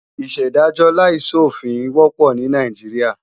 Ìṣèdájọ́ láìsòfin wọ́pọ̀ ní Nàìjíríà